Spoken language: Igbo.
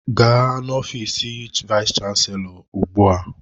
Gaa n'ofiis vayis chansilọ ugbu a!